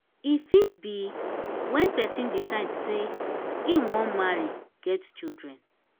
e fit be when person decide sey im wan marry get children